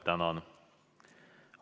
Tänan!